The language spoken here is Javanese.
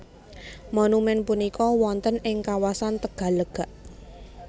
Monumèn punika wonten ing kawasan Tegallega